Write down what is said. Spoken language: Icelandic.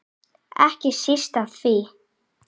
Ekki síst af því.